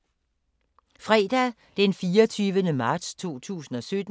Fredag d. 24. marts 2017